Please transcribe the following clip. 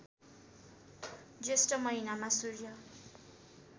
ज्येष्ठ महिनामा सूर्य